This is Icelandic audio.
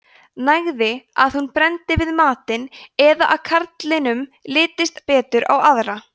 nægði að hún brenndi við matinn eða að karlinum litist betur á aðra